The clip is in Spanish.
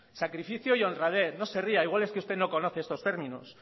sacrificio y honradez o se ría igual es que usted no conoce estos términos